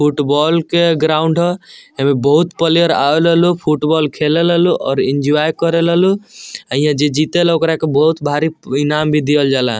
Football के ground ह एमे बहुत प्लेयर आवे ला लोग | फुटबॉल खेले ला लोग अउर एन्जॉय करे ला लोग अ हिया जे जीते ला ओकरा के बहुत भारी इनाम भी देयल जा ला।